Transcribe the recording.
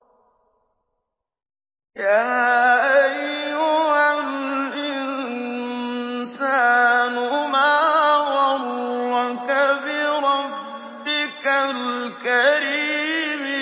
يَا أَيُّهَا الْإِنسَانُ مَا غَرَّكَ بِرَبِّكَ الْكَرِيمِ